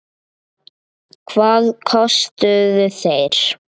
Hvað kostuðu þeir?